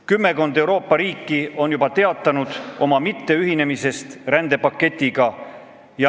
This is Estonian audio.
Kümmekond Euroopa riiki on juba teatanud rändepaktiga mitteühinemisest.